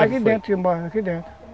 Aqui dentro, aqui dentro